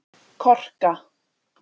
Korka